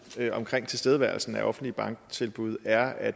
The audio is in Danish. ved tilstedeværelsen af offentlige banktilbud er at